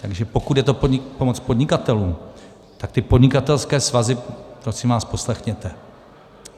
Takže pokud je to pomoc podnikatelům, tak ty podnikatelské svazy prosím vás poslechněte.